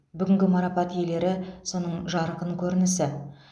бүгінгі марапат иелері соның жарқын көрінісі